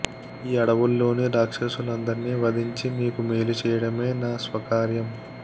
ఈ అడవుల్లోని రాక్షసులందరినీ వధించి మీకు మేలు చేయడమే నా స్వకార్యం